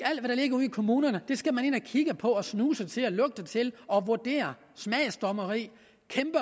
ligger ude i kommunerne skal man ind og kigge på snuse til og til og vurdere smagsdommeri